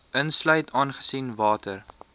insluit aangesien water